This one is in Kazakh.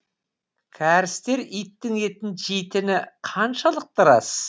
кәрістер иттің етін жейтіні қаншалықты рас